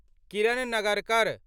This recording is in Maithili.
किरण नगरकर